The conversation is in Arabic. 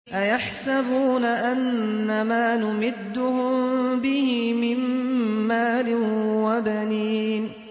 أَيَحْسَبُونَ أَنَّمَا نُمِدُّهُم بِهِ مِن مَّالٍ وَبَنِينَ